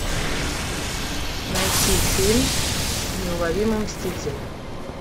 найти фильм неуловимые мстители